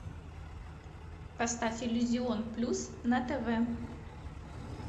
поставь иллюзион плюс на тв